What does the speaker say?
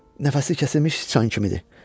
Nəfəsi kəsilmiş çan kimidir.